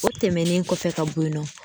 O tɛmɛnen kɔfɛ ka bɔ yen nɔ.